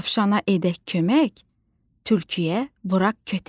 Dovşana edək kömək, tülküyə vuraq kötək.